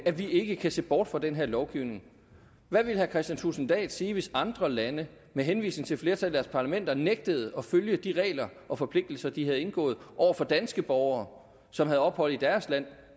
vi ikke kan se bort fra den lovgivning hvad ville herre kristian thulesen dahl sige hvis andre lande med henvisning til flertallet parlamenter nægtede at følge de regler og forpligtelser de havde indgået over for danske borgere som havde ophold i deres land